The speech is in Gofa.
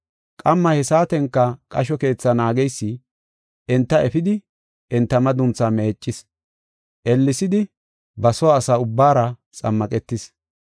Qamma he saatenka qasho keetha naageysi enta efidi enta madunthaa meeccis. Ellesidi ba soo asa ubbaara xammaqetis.